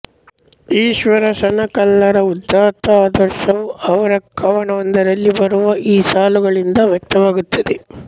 ಈಶ್ವರ ಸಣಕಲ್ಲರ ಉದಾತ್ತ ಆದರ್ಶವು ಅವರ ಕವನವೊಂದರಲ್ಲಿ ಬರುವ ಈ ಸಾಲುಗಳಿಂದ ವ್ಯಕ್ತವಾಗುತ್ತದೆ